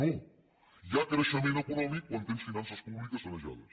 no hi ha creixement econòmic quan tens finances públiques sanejades